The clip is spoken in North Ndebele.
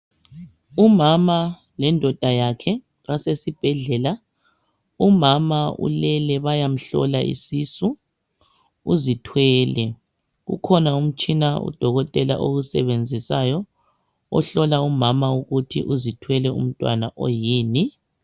Umama lendoda yakhe basesibhedlela. Umama ulele, bayamhlola isisu. Uzithwele. Ukhona umtshina udokotela. awusebenzisayo, ohlola umama ukuthi uzithwele umntwana oyini.